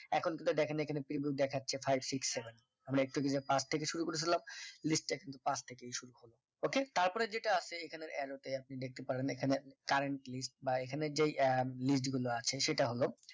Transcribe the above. এখন তো দেখেন এখানে ত্রিভুজ দেখাচ্ছে five six seven আমরা একটু যদি না পাঁচ থেকে শুরু করেছিলাম list টা একটু কিন্তু পাশ থেকে শুরু করলাম okay তারপরে যেটা আছে এখানে arrow তে আপনি দেখতে পারবেন এখানে currentlist বা এখানে যে আহ নিচ গুলো আছে সেটা হল